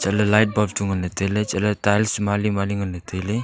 chatle light bulb chu ngan ley tailey chatle tiles mali mali ngan ley tailey.